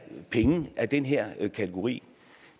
penge af den her kategori